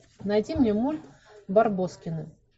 найди мне мульт барбоскины